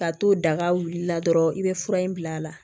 Ka t'o daga wulila dɔrɔn i bɛ fura in bil'a la